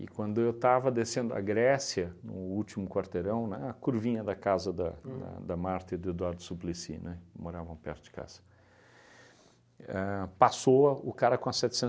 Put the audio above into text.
quando eu estava descendo a Grécia, no último quarteirão, na curvinha da casa da da da da Marta e do Eduardo Suplicy, né, que moravam perto de casa, éh passou o cara com a